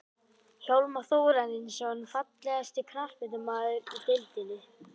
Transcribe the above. Hjálmar Þórarinsson Fallegasti knattspyrnumaðurinn í deildinni?